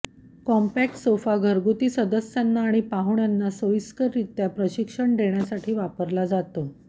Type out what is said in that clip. compact sofa घरगुती सदस्यांना आणि पाहुण्यांना सोयीस्कररित्या प्रशिक्षण देण्यासाठी वापरला जातो